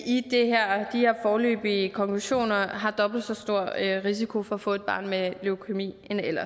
her foreløbige konklusioner har dobbelt så stor risiko for at få et barn med leukæmi